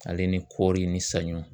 Ale ni kɔɔri ni saɲɔ